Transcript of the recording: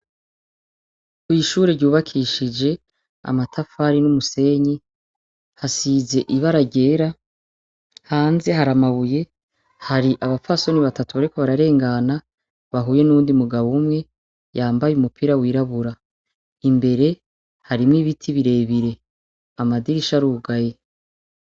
Kw'ishure ryubakishije amatafari n'umusenyi hasize ibara ryera hanze hari amabuye hari abafasoni batatu bariko bararengana bahuye n'undi mugabo umwe yambaye umupira wirabura imbere harimwo ibiti birebire amaiae shi ari ugaye.